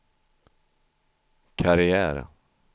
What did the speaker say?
karriär